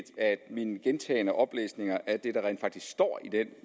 at min gentagne oplæsning af det der rent faktisk står i det